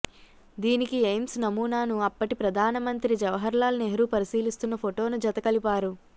దీనికి ఎయిమ్స్ నమూనాను అప్పటి ప్రధాన మంత్రి జవహర్ లాల్ నెహ్రూ పరిశీలిస్తున్న ఫొటోను జత కలిపారు